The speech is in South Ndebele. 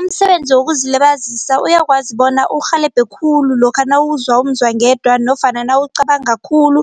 Umsebenzi wokuzilibazisa uyakwazi bona urhelebhe khulu lokha nawuzwa umzwangedwa nofana nawucabanga khulu